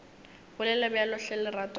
bolele bjalo hle lerato la